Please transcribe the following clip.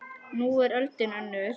Nú er öldin önnur.